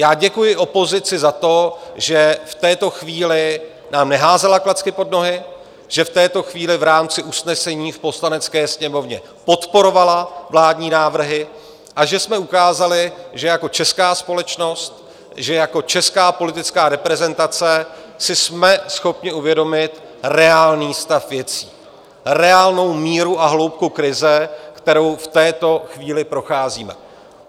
Já děkuji opozici za to, že v této chvíli nám neházela klacky pod nohy, že v této chvíli v rámci usnesení v Poslanecké sněmovně podporovala vládní návrhy a že jsme ukázali, že jako česká společnost, že jako česká politická reprezentace si jsme schopni uvědomit reálný stav věcí, reálnou míru a hloubku krize, kterou v této chvíli procházíme.